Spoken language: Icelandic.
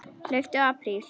Hlauptu apríl.